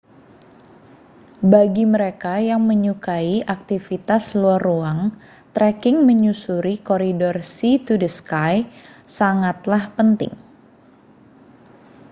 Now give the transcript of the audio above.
bagi mereka yang menyukai aktivitas luar ruang treking menyusuri koridor sea to sky sangatlah penting